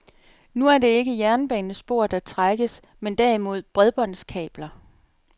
Nu er det ikke jernbanespor, der trækkes, men derimod bredbåndskabler.